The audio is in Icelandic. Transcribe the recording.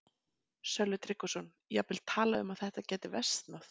Sölvi Tryggvason: Jafnvel talað um að þetta gæti versnað?